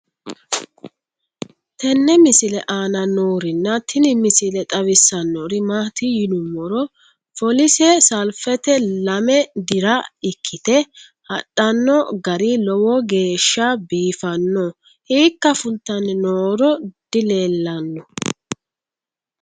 tenne misile aana noorina tini misile xawissannori maati yinummoro foolisse saliffitte lame dira ikkitte hadhanno gari lowo geeshsha biiffanno hiikka fulittanni nooro dileellanno